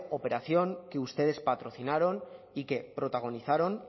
operación que ustedes patrocinaron